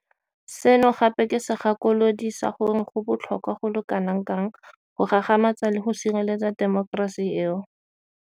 Seno gape ke segakolodi sa gore go botlhokwa go le kanakang go gagamatsa le go sireletsa temokerasi eo.